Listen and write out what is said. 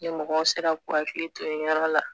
Ni mɔgɔw sera k'u hakili to nin yɔrɔ la